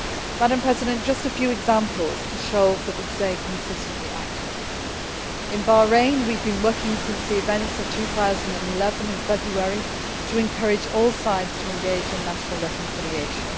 Madam President, just a few examples to show that we stay consistently active In Bahrain, we have been working since the events of February 2011 to encourage all sides to engage in national reconciliation.